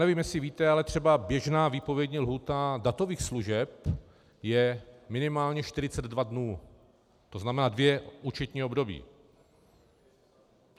Nevím, jestli víte, ale třeba běžná výpovědní lhůta datových služeb je minimálně 42 dnů, to znamená dvě účetní období.